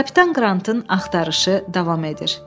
Kapitan Qrantın axtarışı davam edir.